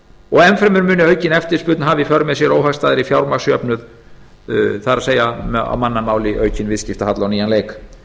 og enn fremur muni aukin eftirspurn hafa í för með sér óhagstæðari fjármagnsjöfnuð það er á mannamáli aukinn viðskiptahalla á nýjan leik